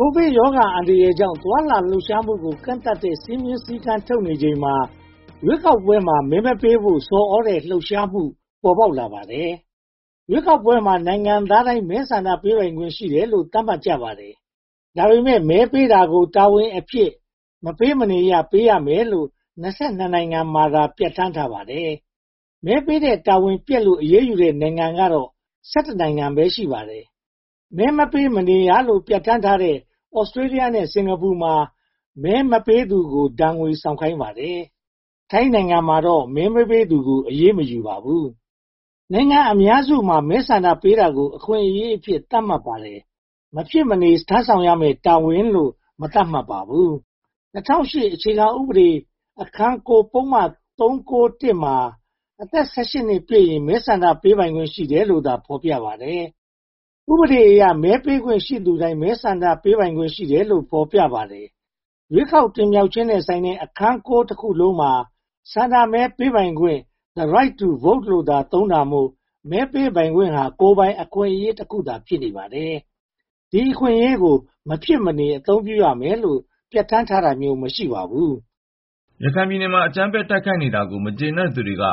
ကိုဗစ်ရောဂါအန္တရာယ်ကြောင့် သွားလာလှုပ်ရှားမှုကို ကန့်သတ်တဲ့ စည်းမျဉ်းစည်းကမ်းထုတ်နေချိန်မှာ ရွေးကောက်ပွဲမှာ မဲမပေးဖို့ဆော်သြတဲ့ လှုပ်ရှားမှု ပေါ်ပေါက်လာပါတယ်။ ရွေးကောက်ပွဲမှာ နိုင်ငံသားတိုင်းမှာ မဲဆန္ဒပေးခွင့်ရှိတယ်လို့ သတ်မှတ်ကြပါတယ်။ ဒါပေမဲ့ မဲပေးတာကို တာဝန်အဖြစ် မပေးမနေရ ပေးရမယ်လို့ (၂၂) နိုင်ငံမှာသာ ပြဌာန်းထားပါတယ်။ မဲပေးတဲ့ တာဝန်ပျက်ကွယ်လို့ အရေးယူတဲ့ နိုင်ငံကတော့ (၁၁) နိုင်ငံ ရှိပါတယ်။ မဲမပေးမနေရလို့ ပြဌာန်းထားတဲ့ Australia နဲ့ Singapore မှာ မဲမပေးသူကို ဒဏ်ငွေဆောင်ခိုင်းပါတယ်။ ထိုင်းနိုင်ငံမှာတော့ မဲမပေးသူကို အရေးမယူပါဘူး။ နိုင်ငံအများစုမှာ မဲဆန္ဒပေးတာကို အခွင့်အရေးအဖြစ် သတ်မှတ်ထားပါတယ်။ မဖြစ်မနေ ထမ်းဆောင်ရမယ့် တာဝန်လို့ မသတ်မှတ်ပါဘူး။ ၂၀၀၈ အခြေခံဥပဒေ အခန်း (၉) ပုဒ်မ (၃၉၁) မှာ အသက် (၁၈) ပြည့်ရင် ဆန္ဒမဲပေးပိုင်ခွင့် ရှိတယ်လို့သာ ဖော်ပြပါတယ်။ ဥပဒေအရ မဲပေးခွင့်ရှိသူတိုင်း ဆန္ဒမဲပေးပိုင်ခွင့် ရှိတယ်လို့ ဖော်ပြထားပါတယ်။ ရွေးကောက်ပွဲတင်မြှောက်ခြင်းနဲ့ဆိုင်တဲ့ အခန်း (၉) တစ်ခုလုံးမှာ ဆန္ဒမဲပေးပိုင်ခွင့် the right to vote လို့သာ သုံးတာမို့ မဲပေးပိုင်ခွင့်သာ ကိုယ်ပိုင်အခွင့်အရေးတစ်ခုသာ ဖြစ်နေပါတယ်။ ဒီအခွင့်အရေးကို မဖြစ်မနေ အသုံးပြုရမယ်လို့ ပြဌာန်းတာမျိုး မရှိပါဘူး။ ရခိုင်ပြည်နယ်မှာ အကြမ်းဖက်တိုက်ခိုက်နေတာကို မကျေနပ်သူတွေက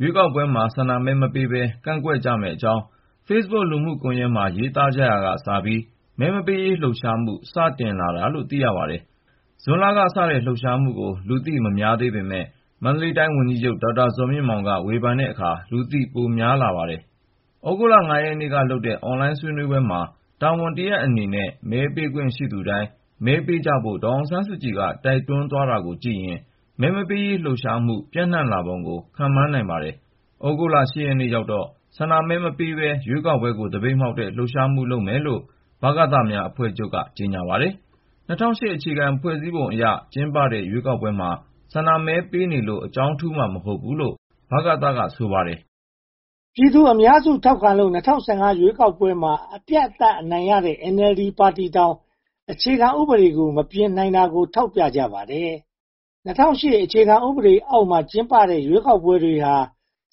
ရွေးကောက်ပွဲမှာ ဆန္ဒမဲမပေးဘဲ ကန့်ကွက်မယ့်အကြောင်း Facebook လူမှုကွန်ရက်မှာ ရေးသားကြရာကစပြီး မဲမပေးရေး လှုပ်ရှားမှု စတင်လာတာလို့ သိရပါတယ်။ ဇွန်လကစတဲ့ လှုပ်ရှားမှုကို လူသိများပေမယ့် မန္တလေးတိုင်း ဝန်ကြီးချုပ် ဒေါက်တာဇော်မြင့်မောင်က ဝေဖန်တဲ့အခါမှာ လူသိများလာပါတယ်။ သြဂုတ်လ (၅) ရက်နေ့ကလုပ်တဲ့ အွန်လိုင်းဆွေးနွေးပွဲမှာ တာဝန်တရပ်အနေနဲ့ မဲပေးခွင့်ရှိသူတိုင်း မဲထည့်ကြဖို့ ဒေါ်အောင်ဆန်းစုကြည်က တိုက်တွန်းသွားတာကိုကြည့်ရင် မဲမပေးရေးလှုပ်ရှားမှု ပြန့်နံှလာပုံကို ခန့်မှန်းနိုင်ပါတယ်။ သြဂုတ်လ (၈) ရက်နေ့ရောက်တော့ ဆန္ဒမဲမပေးဘဲ ရွေးကောက်ပွဲကို သပိတ်မှောက်တဲ့ လှုပ်ရှားမှုလုပ်မယ်လို့ ဗကသများအဖွဲ့ချုပ်က ကြေညာပါတယ်။ ၂၀၀၈ အခြေခံဥပဒေအရ ကျင်းပတဲ့ ရွေးကောက်ပွဲမှာ ဆန္ဒမဲပေးနေလို့ အကြောင်းထူးမှာ မဟုတ်ဘူးလို့ ဗကသ က ဆိုပါတယ်။ ပြည်သူ့အများစုထောက်ခံလို့ ၂၀၁၅ ရွေးကောက်ပွဲမှာ အပြတ်အသတ်နိုင်တဲ့ NLD ပါတီတောင် အခြေခံဥပဒေ မပြင်နိုင်တာကို ထောက်ပြကြပါတယ်။ ၂၀၀၈ အခြေခံဥပဒေအောက်မှာ ကျင်းပတဲ့ ရွေးကောက်ပွဲတွေဟာ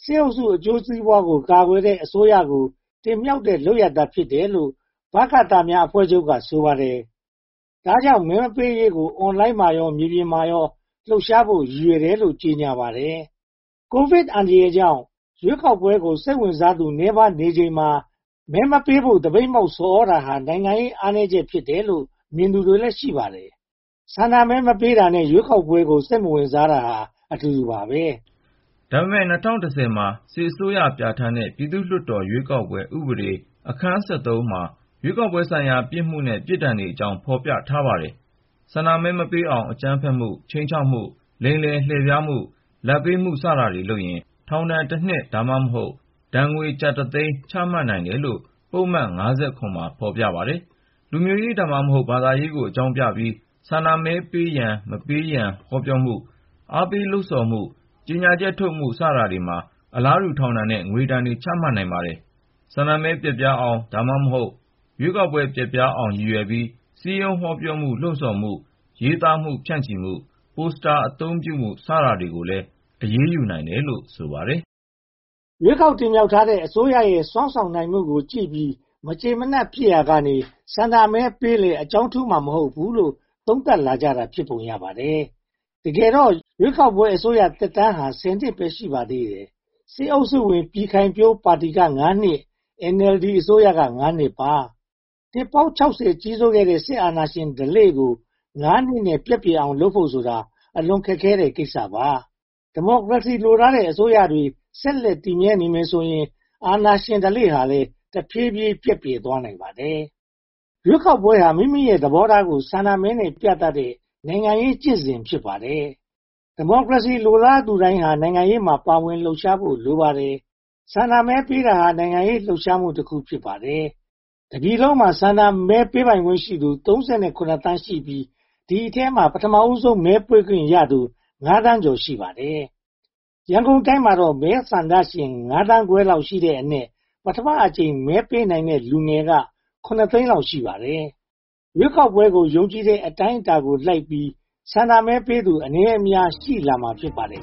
စစ်အုပ်စုအကျိုးစီးပွားကို ကာကွယ်တဲ့အစိုးရကို တင်မြှောက်တဲ့ လုပ်ရပ်သာဖြစ်တယ်လို့ ဗကသအဖွဲ့ချုပ်က ဆိုပါတယ်။ ဒါပေမဲ့ မပေးရေးကို အွန်လိုင်းမှာရော မြေပြင်မှာရော လှုပ်ရှားဖို့ ရည်ရွယ်တယ်လို့ ကြေညာပါတယ်။ ကိုဗစ်အန္တရာယ်ကြောင့် ရွေးကောက်ပွဲကို စိတ်ဝင်စားသူ နည်းပါးနေချိန်မှာ မဲမပေးဖို့ သပိတ်မှောက်ဆော်သြတာဟာ နိုင်ငံရေးအားနည်းချက် ဖြစ်တယ်လို့ မြင်သူတွေလည်း ရှိပါတယ်။ ဆန္ဒမဲမပေးတာနဲ့ ရွေးကောက်ပွဲကို စိတ်မဝင်စားတာဟာ အတူတူပါပဲ။ ဒါပေမဲ့ ၂၀၁၀ မှာ စစ်အစိုးရပြဌာန်းတဲ့ ပြည်သူ့ရွေးကောက်ပွဲ ဥပဒေအခန်း (၁၃) မှာ ရွေးကောက်ပွဲဆိုင်ရာ ပြစ်မှုနဲ့ ပြစ်ဒဏ်တွေအကြောင်း ဖော်ပြထားပါတယ်။ ဆန္ဒမဲမပေးအောင် အကြမ်းဖက်မှု၊ ခြိမ်းခြောက်မှု၊ လိမ်လည်လှည့်ဖြားမှု၊ လာဘ်ပေးမှု စတာတွေလုပ်ရင် ထောင်ဒဏ်တနှစ် (သို့မဟုတ်) ဒဏ်ငွေကျပ်တသိန်းအထိ ချမှတ်နိုင်တယ်လို့ ပုဒ်မ (၅၇) မှာ ဖော်ပြပါတယ်။ လူမျိုးရေး (သို့မဟုတ်) ဘာသာရေးကို အကြောင်းပြပြီး ဆန္ဒမဲပေးရန်၊ မပေးရန် ဟောပြောမှု၊ အားပေးလှုပ်ဆော်မှု၊ ကြေညာချက်ထုတ်မှု စတာတွေမှာ အလားတူ ထောင်ဒဏ်နဲ့ငွေဒဏ် ချမှတ်နိုင်ပါတယ်။ ဆန္ဒမဲ ပျက်ပြားအောင် (သို့မဟုတ်) ရွေးကောက်ပွဲ ပျက်ပြားသွားအောင် ရည်ရွယ်ပြီး စည်းဝေးဟောပြောမှု၊ လှုံဆော်မှု၊ ရေးသားမှု၊ ဖြန့်ချီမှု၊ ပို့စတာ အသုံးပြုမှု စတာတွေကိုလည်း အရေးယူနိုင်တယ်လို့ ဆိုပါတယ်။ ရွေးကောက်တင်မြှောက်ထားတဲ့ အစိုးရရဲ့ စွမ်းဆောင်နိုင်မှုကိုကြည့်ပြီး မကျေမနပ်ဖြစ်ရာကနေ ဆန္ဒမဲပေးလည်း အကြောင်းထူးမှာ မဟုတ်ဘူးလို့ သုံးသပ်လာကြတာ ဖြစ်ပုံရပါတယ်။ တကယ်တော့ ရွေးကောက်ပွဲအစိုးရသက်တမ်းဟာ (၁၀) နှစ်ပဲ ရှိပါသေးတယ်။ စစ်အုပ်စုဝင် ပြည်ခိုင်ဖြိုးပါတီက (၅) နှစ် NLD အစိုးရက (၅) နှစ်ပါ။ နှစ်ပေါင်း (၆၀) နီးပါး ကြီးစိုးခဲ့တဲ့ စစ်အာဏာရှင် ဓလေ့ကို (၅) နှစ် ပျက်ပြယ်အောင် ပြုလုပ်ဖို့ဆိုတာ အလွန်ခက်ခဲတဲ့ကိစ္စပါ။ ဒီမိုကရေစီ လိုလားတဲ့ အစိုးရတွေ ဆက်လက်တည်မြဲနေမယ်ဆိုရင် အာဏာရှင်ဓလေ့ဟာ တဖြည်းဖြည်းပျက်ပြယ်သွားနိုင်ပါတယ်။ ရွေးကောက်ပွဲဟာ မိမိရဲ့သဘောထားကို ဆန္ဒမဲနဲ့ ပြသတဲ့ နိုင်ငံရေးကျင့်စဉ် ဖြစ်ပါတယ်။ ဒီမိုကရေစီ လိုလားသူတိုင်းဟာ နိုင်ငံရေးမှာ ပါဝင်လှုပ်ရှားဖို့ လိုပါတယ်။ ဆန္ဒမဲပေးတာဟာ နိုင်ငံရေးလှုပ်ရှားမှုတခု ဖြစ်ပါတယ်။ တပြည်လုံးမှာ ဆန္ဒမဲပေးခွင့်ရှိသူ (၃၇) သန်းခွဲလောက်ရှိတဲ့အနက် ပထမအကြိမ် မဲပေးမယ့် လူငယ်က (၇) သိန်းလောက် ရှိပါတယ်။ ရွေးကောက်ပွဲကို ယုံကြည်တဲ့ အတိုင်းအတာကိုလိုက်ပြီး ဆန္ဒမဲပေးသူ အနည်းအများ ရှိလာမှာ ဖြစ်ပါတယ်